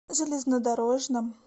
железнодорожным